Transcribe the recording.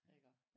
Iggå?